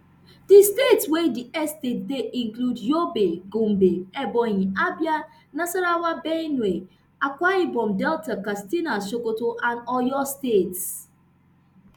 di states wey di estates dey include yobe gombe ebonyi abia nasarawa benue akwa ibom delta katsina sokoto and oyo states